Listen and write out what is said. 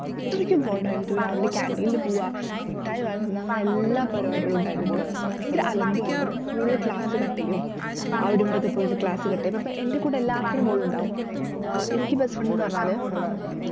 അത്രയ്ക്കും bond ആയിരുന്നു രാവിലെ canteen ല് പോവുക മിട്ടായി വാങ്ങുന്ന ന്ന എല്ലാ പരിപാടികളും ഉണ്ടായിരുന്നുട്ടോ ഭയങ്കര അലമ്പും ആയിരുന്നു കൂടെ class cut ചെയ്യും അവിടിവിടേം ഒക്കെ പോയിരുന്നു class cut ചെയ്ത പ്പൊ എന്റെ കൂടെ എല്ലാത്തിനും ഏർ ഓളുണ്ടാകും എനിക്ക് best friend ന്നു പറഞ്ഞാല്